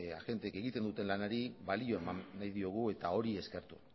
agenteek egiten duten lanari balioa eman nahi diogu eta hori eskertu